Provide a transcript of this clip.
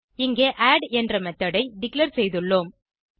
இங்கே ஆட் என்ற மெத்தோட் ஐ டிக்ளேர் செய்துள்ளோம்